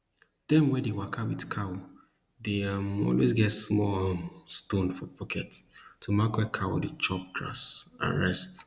dem wey dey waka with cow dey um always get small um stone for pocket to mark where cow dey chop grass and rest